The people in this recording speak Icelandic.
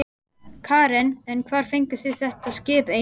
Karen: En hvar fenguð þið þetta skip eiginlega?